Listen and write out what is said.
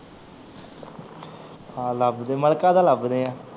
ਹਾਂ ਲੱਭਦੇ ਆਂ ਮਲਿਕਾ ਦਾ ਲੱਭਦੇ ਆ